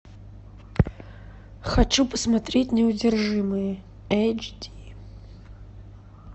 хочу посмотреть неудержимые эйч ди